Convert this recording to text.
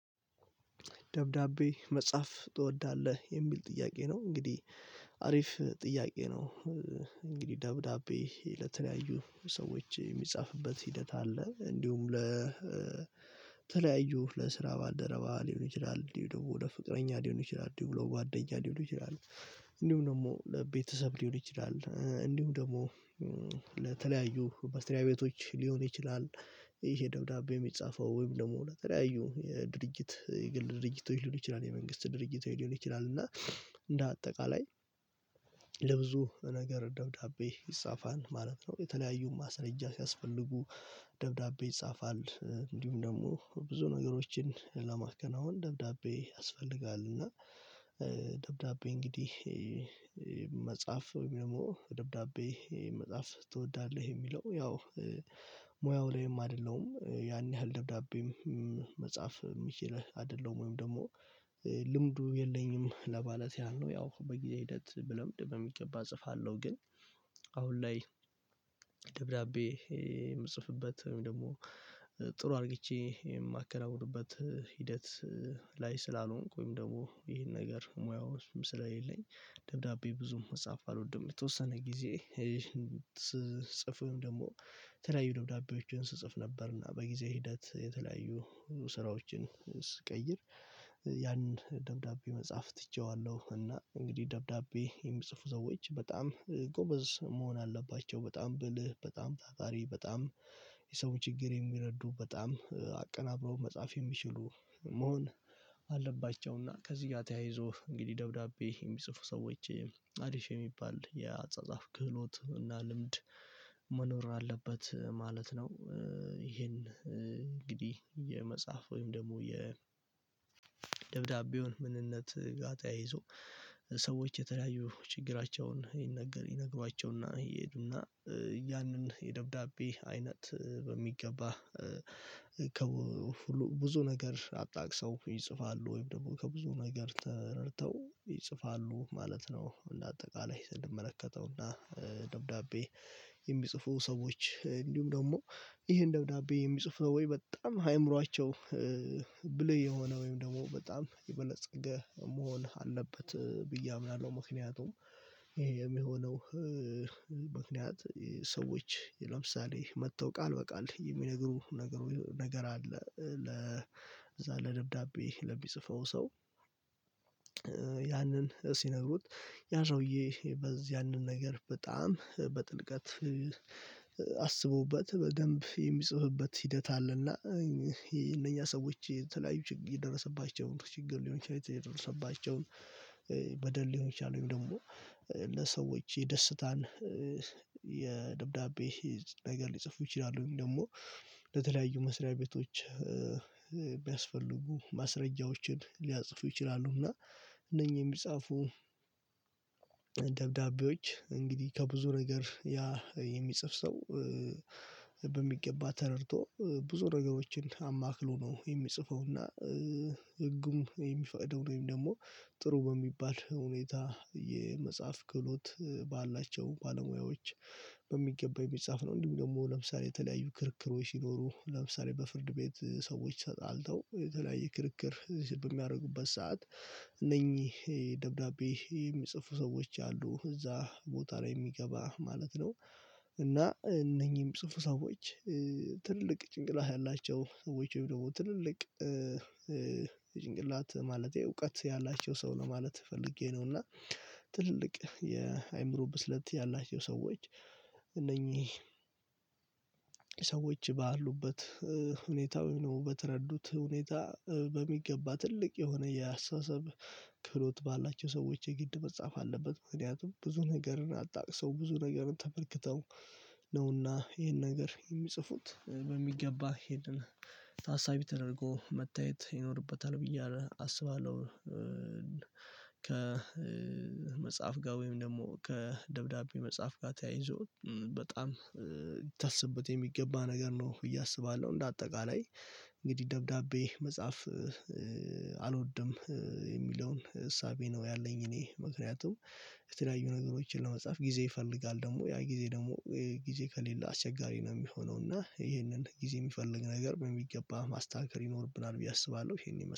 ደብዳቤ መጻፍ ትወዳለህ የሚል ጥያቄ ነው እንግዲህ አሪፍ ጥያቄ ነው። እንግዲህ ደብዳቤ ለተለያዩ ሰዎች የሚጻፍበት ሂደት አለ እንዲሁም ለተለያዩ ለስራ ባልደረባ ሊሆን ይችላል እንዲሁ ደግሞ ወደ ፍቅረኛ ሊሆን ይችላል እንዲሁ ደግሞ ወደ ጓደኛ ሊሆን ይችላል። እንዲሁ ደግሞ ለቤተሰብ ሊሆን ይችላል እንዲሁ ደግሞ ለተለያዩ መስራያ ቤቶች ሊሆን ይችላል። ይሄ ደብዳቤ የሚጻፈው ወይም ደግሞ ለተለያዩ የድርጂት የግል ድርጂቶች ሊሆን ይችላል የመንግስት ድርጂት ሊሆን ይችላል። እንደ አጠቃላይ ለብዙ ነገር ደብዳቤ ይጻፋል ማለት ነው። የተለያዩ ማስረጃ ሲያስፈልጉ ደብዳቤ ይጻፋል እንዲሁም ደግሞ ብዙ ነገሮችን ለማከናወን ደብዳቤ ያስፈልጋል። እና ደብዳቤ እንግዲህ መጻፍ ደግሞ ወድም ደግሞ ደብዳቤ መጻፍ ትወዳለህ የሚለው ያው ሞያው ላይም አደለሁም ያን ያሀል ደብዳቤም መጻፍ ምችል አደለሁም ወይም ደግሞ ልምዱ የለኚም ለማለት ያህል ያው በጊዜ ሂደት ብለምድ በሚገባ እጽፋለሁ። ግን አሁን ላይ ደብዳቤ የምጽፍበት ወይም ደግሞ ጥሩ አድርግቼ የማከናውንበት ሂደት ላይ ስላልሆንኩኝ ወይም ደግሞ ይሄ ነገር ሞያው ስለሌለኝ ደብዳቤ ብዙም መጻፍ አልወድም። የተወሰነ ጊዜ ስጽፍም ደግሞ የተለያዩ ደብዳቤዎችን ስጽፍ ነበረ እና በጊዜ ሂደት የተለያዩ ስራዎችን ስቀይር ያንን ደብዳቤ መጻፍ ትቼዋለሁ። እና እንግዲህ ደብዳቤ የሚጽፉ ሰዎች በጣም ጎበዝ መሆን አለባቸው በጣም ብልህ በጣም ታታሪ በጣም የሰው ቺግር የሚረዱ በጣም አቀናብረው መጻፍ የሚችሉ መሆን አለባቸው። እና ከዚህ ጋር ተያይዞ እንግዲህ ደብዳቤ የሚጽፉ ሰዎች አራፍ የሚባል የአጻጻፍ ቺሎት እና ልምድ መኖር አለበት ማለት ነው። ይሄ እንግዲህ የመጻፍ ወይም ደግሞ የደብዳቤዉን ምንነት ተያይዞ ሰዎች የተለያዩ ችግራቸውን ይነገር ይነግሯቸው ይሄዱ እናእና ያንን የደብዳቤ አይነት በሚገባ ከብዙ ነገር አጣቅሰው ይጽፋሉ ወይም ደግሞ ከብዙ ነገር ተረድተው ይጽፋሉ ማለት ነው። እና አጠቃላይ ስንመለከተው እና ደብዳቤ የሚጽፋ ሰዎች ደግሞ ይሄን ደብዳቤ የሚጽፉ ነው ወይ በጣም አይምሯቸው ብልህ የሆነ ወይም ደግሞ በጣም የበለፀገ መሆን መሆን አለበት ብዬ አምናለሁ። ምክንያቱም ይሄ የሚሆነው ምክንያት የ ሰዎች ለምሳሌ መተው ቃል በቃል የሚነግሩህ ነገር አሃ ለዛ ደብዳቤ ለሚጽፈው ሰው እና ያንን ሲነግሩት ያ ሰዉዬ በዚያንን ነገር በጣም በጥልቀት አስቦበት በደንብ የሚጥፍበት ሂደት አለ እና እነኛ ሰዎች የተለያዩ የደረሰባቸው ችግር ሊሆን ይችላል የተደረገባቸው በደል ሊሆን ይችላልወይም ደግሞ ለሰዎት የደስታን የደብዳቤ ነገር ሊጽፉ ይችላሉ ወይም ደግሞ ለተለያዩ መስራያ ቤቶች ቢያስፈልጉ ማስረጃዎችን ሊጽፉ ይችላሉ። እና እነኚህ የሚጻፉ ደብዳቤዎች እንግዲህ ከብዙ ነገር የሚጻፍ ሰው በሚገባ ተረድቶ ብዙ ነገሮችን አማክሎ ነው የሚጽፈው እና ህጉም የሚፈቅደው ወይም ደግሞ ጥሩ በሚባል ሁኔታ የመጻፍ ክህሎት ባላቸው ባለ ሞያዎች በሚገባ የሚጻፍ ነው። እንዲሁም ደግሞ ክርክሮች ሲኖሩ ለምሳሌ በፍርድ ቤት ሰዎችተጣልተው የተለያየ ክርክር በሚያደርጉበት ሰዓት እነኚህ ሰዎች አሉ እዛ ቦታ ላይ የሚገባ ማለት ነው። እና እነኚህ የሚጽፉ ሰዎች ትልቅ ጭንቅላት ያላቸው ሰዎች ወይም ደግሞ ትልቅ እዉቀት ያላቸው ሰው ነው ማለት ፈልጌ ነው እና ትልልቅ የ አእምሮ ብስለት ያላቸው ሰዎች እነኚህ እነኚህ ኤነኝህ ሰዎች ባሉበት ሁኔታ ዘይም በተረዱበት ሁኔታ ትልቅ የሆነ የ አስተሳሰብ ክህሎት ባላቸው ሰዎቾች የግድ መጻፍ አለበት። ምክንያቱም ብዙ ነገርን አጣቅሰው ብዙ ነገርን ተመልክተው ነው እና ይሄን ነገር የሚጽፉት በሚገባ ይሄንን ታሳቢ ተደርጎ መታየት ይኖርበታል ብዬ አስባለሁ። ከ መጻፍ ጋር ወይም ደግሞ ከ ደብዳቤ መጻፍ ጋር ተያይዞ በጣም ሊታሰብበት የሚገባ ነገር ነው ብዬ አስባለሁ። እንደ አጠቃላይ እንግዲህ ደብዳቤ መጻፍ አልወድም የሚሀዉን እሳቤ ነው ያለኝ እኔ ምክንያቱም የተለያዩ ነገሮችን ለመጻፍ ጊዜ ይፈልጋል ገደሞ ያ ጊዜ ደግሞ ከሌለ አስቸጋሪ ነው የሚሆነው እና ይሄንን ጊዜ የሚፈልግ ነገር በሚገባ ማስተካከል ይኖርብናል ብዬ አስባለሁ። ይሄንን ይመስላል